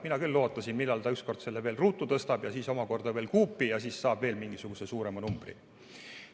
Mina küll ootasin, et millal ta ükskord selle veel ruutu tõstab ja siis omakorda veel kuupi ja siis saab veel mingisuguse suurema numbri.